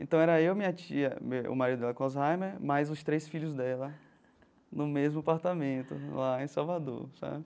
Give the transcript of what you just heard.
Então era eu, minha tia, o marido dela com Alzheimer, mais os três filhos dela, no mesmo apartamento, lá em Salvador, sabe?